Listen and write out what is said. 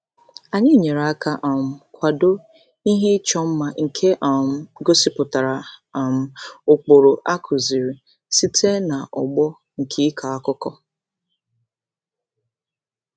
Anyị nyere aka um kwado ihe ịchọ mma nke um gosipụtara um ụkpụrụ a kụziiri site n'ọgbọ nke ịkọ akụkọ.